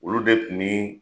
Olu de kun bii